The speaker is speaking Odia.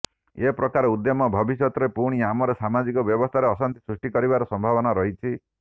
ଏ ପ୍ରକାର ଉଦ୍ୟମ ଭବିଷ୍ୟତରେ ପୁଣି ଆମର ସାମାଜିକ ବ୍ୟବସ୍ଥାରେ ଅଶାନ୍ତି ସୃଷ୍ଟି କରିବାର ସମ୍ଭାବନା ରହିଛି